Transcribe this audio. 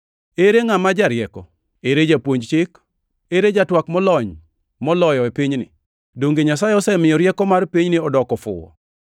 Ere ngʼama jarieko? Ere japuonj chik? Ere jatwak molony moloyo e pinyni? Donge Nyasaye osemiyo rieko mar pinyni odoko fuwo?